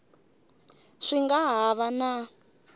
swi nga ha va na